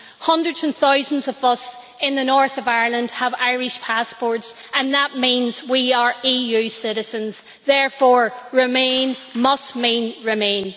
Hundreds and thousands of us in the North of Ireland have Irish passports and that means we are EU citizens, therefore remain must mean remain.